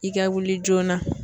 I ka wuli joona